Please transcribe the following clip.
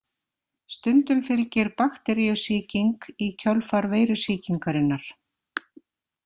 Stundum fylgir bakteríusýking í kjölfar veirusýkingarinnar.